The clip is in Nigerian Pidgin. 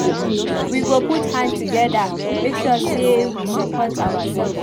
We go put hand together make sure sey we support oursef.